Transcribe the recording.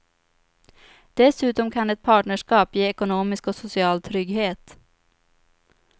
Dessutom kan ett partnerskap ge ekonomisk och social trygghet.